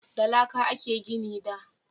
Da laƙa a ke gini da